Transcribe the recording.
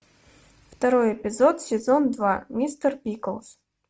второй эпизод сезон два мистер пиклз